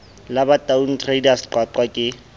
la bataung traders qwaqwa ke